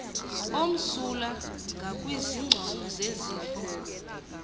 omsulwa ngakwizingcolo zezifo